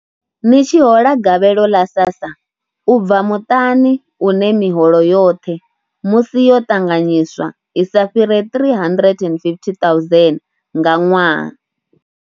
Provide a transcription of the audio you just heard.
Ni tshi hola gavhelo ḽa SASSA. U bva muṱani une miholo yoṱhe musi yo ṱanganyiswa i sa fhire R350 000 nga ṅwaha.